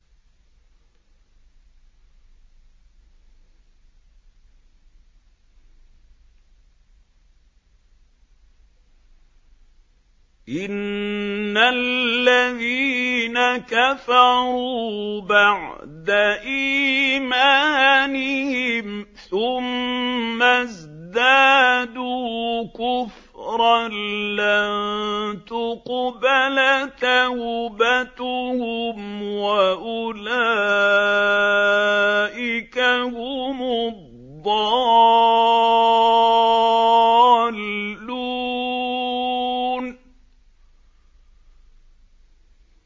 إِنَّ الَّذِينَ كَفَرُوا بَعْدَ إِيمَانِهِمْ ثُمَّ ازْدَادُوا كُفْرًا لَّن تُقْبَلَ تَوْبَتُهُمْ وَأُولَٰئِكَ هُمُ الضَّالُّونَ